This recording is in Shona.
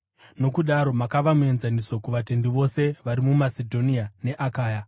Nokudaro makava muenzaniso kuvatendi vose vari muMasedhonia neAkaya.